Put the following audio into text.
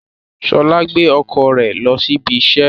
Ṣọla gbé ọkọ rẹ lo sí ibí iṣẹ